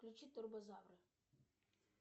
включи турбозавры